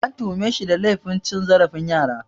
An tuhume shi da laifin cin zarafin yara